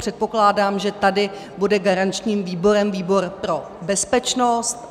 Předpokládám, že tady bude garančním výborem výbor pro bezpečnost.